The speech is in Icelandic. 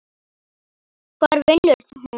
Hvar vinnur hún?